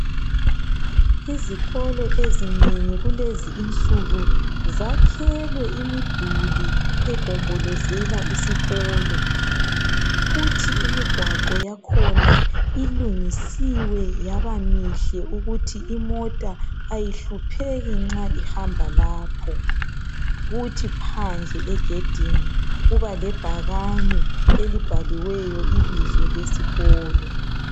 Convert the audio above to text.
Izikolo ezinengi kulezi insuku zakhelwe imiduli egombolezela isikolo. kuthi imigwaqo yakhona ilungisiwe yabamihle ukuthi imota ayihlupheki nxa ihamba lapho, kuthi phandle egedini kuba lebhakane elibhaliweyo ibizo lesikolo.